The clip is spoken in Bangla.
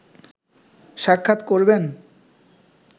সাক্ষাৎ করবেন